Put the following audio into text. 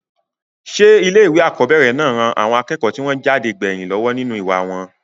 sé ilé ìwé àkọ́bẹ̀rẹ̀ náà ran àwọn akẹ́kọ̀ọ́ tí wọ́n jáde gbẹ̀yìn lọ́wọ́ nínú ìwà wọn?